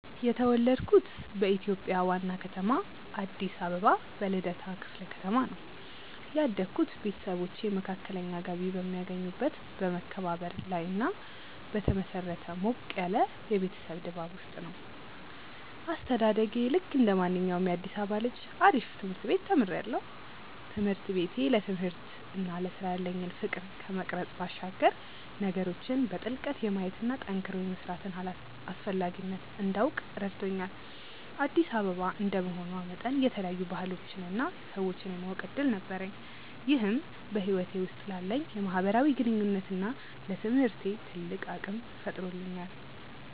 የተወለድኩት በኢትዮጵያ ዋና ከተማ አዲስ አበባ በልደታ ክፍለ ከተማ ነው። ያደግኩት ቤተሰቦቼ መካከለኛ ገቢ በሚያገኙበት በመከባበርና ላይ በተመሰረተ ሞቅ ያለ የቤተሰብ ድባብ ውስጥ ነው። አስተዳደጌ ልክ እንደማንኛውም የአዲሳባ ልጅ ነው አሪፍ ትምርት ቤት ተምሪያለሁ። ትምህርት ቤቴ ለትምህርትና ለስራ ያለኝን ፍቅር ከመቅረጽ ባሻገር ነገሮችን በጥልቀት የማየትና ጠንክሮ የመስራትን አስፈላጊነት እንዳውቅ ረድቶኛል። አዲስ አበባ እንደመሆኗ መጠን የተለያዩ ባህሎችንና ሰዎችን የማወቅ እድል ነበረኝ ይህም በህይወቴ ውስጥ ላለኝ የማህበራዊ ግንኙነትና ለትምህርቴ ትልቅ አቅም ፈጥሮልኛል።